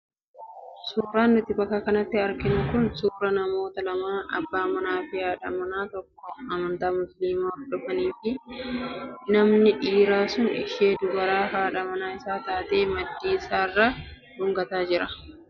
Suuraan nuti bakka kanatti arginu kun suuraa namoota lamaa abbaa manaa fi haadha manaa tokkoo amantaa musliimaa hordofanii fi namni dhiiraa sun ishee dubaraa haadha manaa isaa taate maddii isheerra dhungataa jira.